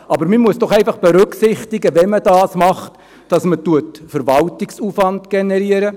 Wenn man dies tut, muss man doch einfach berücksichtigen, dass man damit Verwaltungsaufwand generiert;